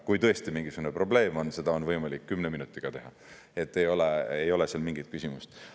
Kui tõesti mingisugune probleem, siis seda on võimalik kümne minutiga teha, ei ole seal mingit küsimust.